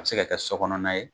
An bɛ se ka kɛ so kɔnɔna ye,